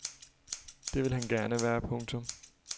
Det vil han gerne være. punktum